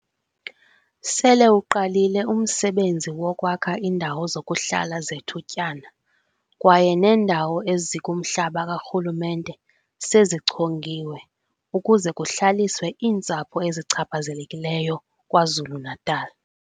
Sele uqalile umsebenzi wokwakha iindawo zokuhlala zethutyana kwaye neendawo ezikumhlaba karhulumente sezichongiwe ukuze kuhlaliswe iintsapho ezichaphazelekileyo KwaZulu-Natal.